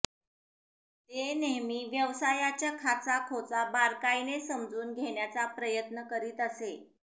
ते नेहमी व्यवसाया च्या खाचा खोचा बारकाईने समजून घेण्याचा प्रयत्न करीत असे